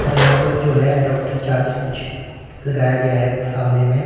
और यहां पर जो है एडाप्टर चार्ज कुछ लगाया गया है सामने में--